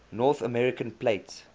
north american plate